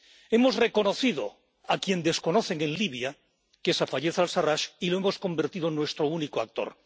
Hemos reconocido a quien desconocen en Libia —que es Fayez al Sarrach— y lo hemos convertido en nuestro único actor.